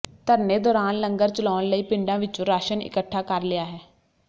ਧਰਨੇ ਦੌਰਾਨ ਲੰਗਰ ਚਲਾਉਣ ਲਈ ਪਿੰਡਾਂ ਵਿੱਚੋਂ ਰਾਸ਼ਨ ਇੱਕਠਾ ਕਰ ਲਿਆ ਹੈ